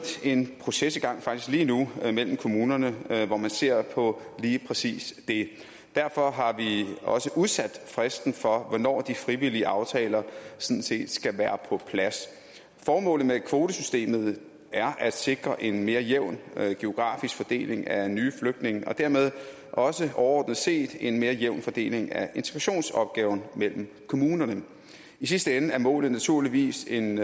en proces i gang faktisk lige nu mellem kommunerne hvor man ser på lige præcis det derfor har vi også udsat fristen for hvornår de frivillige aftaler sådan set skal være på plads formålet med kvotesystemet er at sikre en mere jævn geografisk fordeling af nye flygtninge og dermed også overordnet set en mere jævn fordeling af integrationsopgaven mellem kommunerne i sidste ende er målet naturligvis en